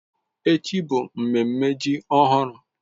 Echi bụ mmemme ji ọhụrụ